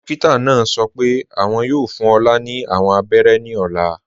Dókítà náà sọ́ pẹ́ awọn yóò fún Olá ni awọn àbẹ̀rẹ̀ ní ọ̀là.